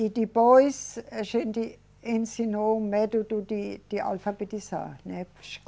E depois a gente ensinou o método de, de alfabetizar, né?